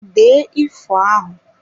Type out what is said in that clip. Dee ifo a!